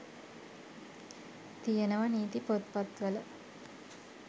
තියෙනවා නීති පොත්පත්වල